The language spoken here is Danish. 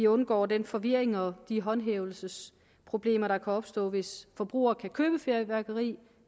undgår den forvirring og de håndhævelsesproblemer der kan opstå hvis forbrugere kan købe fyrværkeri